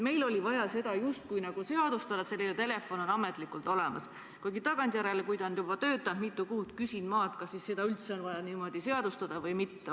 Meil oli vaja justkui seadustada, et selline telefon on ametlikult olemas, kuigi tagantjärele, kui see on juba mitu kuud töötanud, küsin ma, kas seda üldse on vaja niimoodi seadustada või mitte.